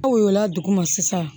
Aw yola duguma sisan